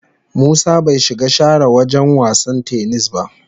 Musa bai shiga share wagen wasan "tennis" ba.